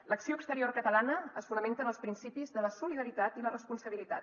l’acció exterior catalana es fonamenta en els principis de la solidaritat i la responsabilitat